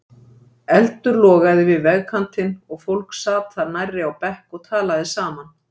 Eldur logaði við vegkantinn og fólk sat þar nærri á bekk og talaði saman.